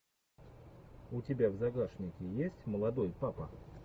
у тебя в загашнике есть молодой папа